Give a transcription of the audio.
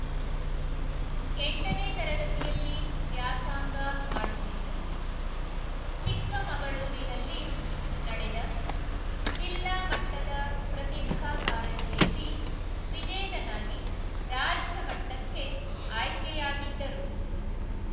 ಎಂಟನೇ ತರಗತಿಯಲ್ಲಿ ವ್ಯಾಸಾಂಗ ಮಾಡುತ್ತಿದ್ದು ಚಿಕ್ಕಮಗಳೂರಿನಲ್ಲಿ ನಡೆದ ಜಿಲ್ಲಾಮಟ್ಟದ ಪ್ರತಿಭಾ ಕಾರಂಜಿಯಲ್ಲಿ ವಿಜೇತನಾಗಿ ರಾಜ್ಯಮಟ್ಟಕ್ಕೆ ಆಯ್ಕೆಯಾಗಿದ್ದರು